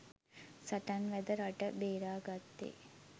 සටන් වැද රට බේරාගත්තේ